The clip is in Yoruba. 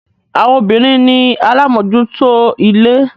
Àwọn obìnrin ni alámòjúútó ilé.